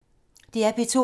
DR P2